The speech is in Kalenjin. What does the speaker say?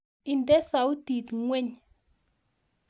Ide soutit ngweny